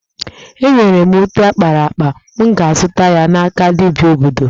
E nwere ute akpara akpa, m ga-azụta ya n'aka dibia obodo